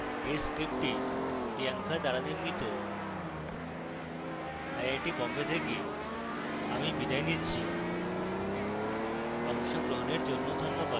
এই script priyanka দ্বারা নির্মিত আই আই টী বোম্বে থেকে আমি কৌশিক দত্ত বিদায় নিচ্ছি